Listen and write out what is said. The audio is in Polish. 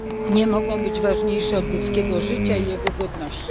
nie mogą być ważniejsze od ludzkiego życia i jego godności.